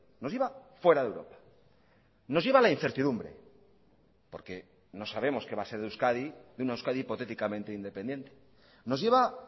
nos lleva fuera de europa nos lleva a la incertidumbre porque no sabemos que va a ser de euskadi de una euskadi hipotéticamente independiente nos lleva